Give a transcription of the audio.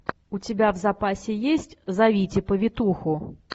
у тебя в запасе есть зовите повитуху